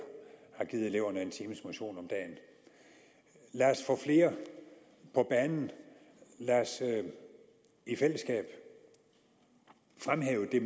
har givet eleverne en times motion om dagen lad os få flere på banen lad os i fællesskab fremhæve det